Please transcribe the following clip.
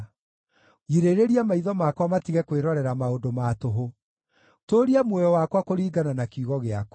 Girĩrĩria maitho makwa matige kwĩrorera maũndũ ma tũhũ; tũũria muoyo wakwa kũringana na kiugo gĩaku.